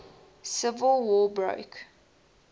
civil war broke